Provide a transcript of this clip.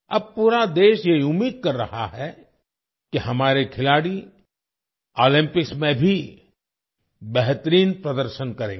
अब पूरा देश ये उम्मीद कर रहा है कि हमारे खिलाड़ी ओलंपिकs में भी बेहतरीन प्रदर्शन करेंगे